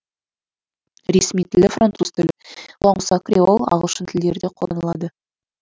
ресми тілі француз тілі бұған қоса креол ағылшын тілдері де қолданылады